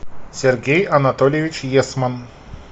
сергей анатольевич есман